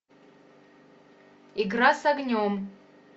игра с огнем